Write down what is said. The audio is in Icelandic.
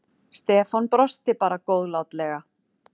Stefán brosti bara góðlátlega.